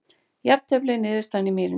Jafntefli niðurstaðan í Mýrinni